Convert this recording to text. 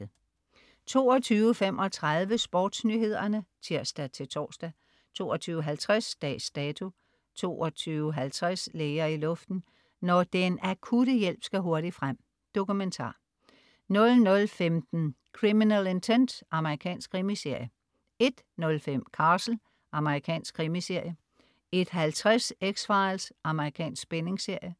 22.35 SportsNyhederne (tirs-tors) 22.50 Dags Dato 22.50 Læger i luften. Når den akutte hjælp skal hurtigt frem. Dokumentar 00.15 Criminal Intent. Amerikansk krimiserie 01.05 Castle. Amerikansk krimiserie 01.50 X-Files. Amerikansk spændingsserie